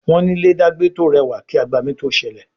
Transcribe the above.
Wón ní ilé dagbe to rẹwà kí agbami to sẹlẹ